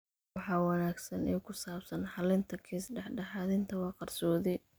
Waxa wanaagsan ee ku saabsan xallinta kiis dhexdhexaadinta waa qarsoodi.